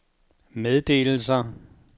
meddelelser